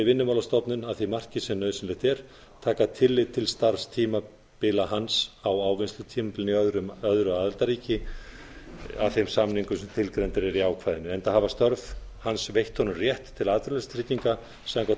vinnumálastofnun að því marki sem nauðsynlegt er taka tillit til starfstímabila hans á ávinnslutímabilinu í öðru aðildarríki að þeim samningum sem tilgreindir eru í ákvæðinu enda hafi störf hans veitt honum rétt til atvinnuleysistrygginga samkvæmt